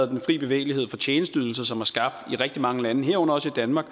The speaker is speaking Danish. den fri bevægelighed for tjenesteydelser som i rigtig mange lande herunder også i danmark